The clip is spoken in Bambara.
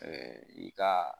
i ka